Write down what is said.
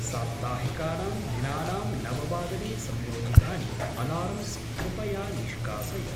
साप्ताहिकानां दिनानां नववादने संयोजितानि अलार्म्स् कृपया निष्कासय।